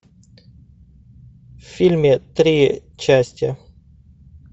в фильме три части